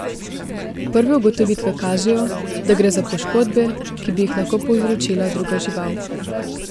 Prve ugotovitve kažejo, da gre za poškodbe, ki bi jih lahko povzročila druga žival.